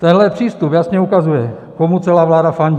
Tenhle přístup jasně ukazuje, komu celá vláda fandí.